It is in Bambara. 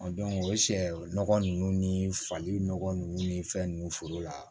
o ye sɛ nɔgɔ ninnu ni fali nɔgɔ ninnu ni fɛn ninnu foro la